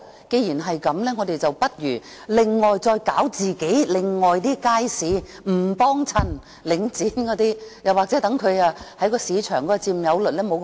既然如此，我們不如另外發展其他街市，不光顧領展或令它的市場佔有率縮小。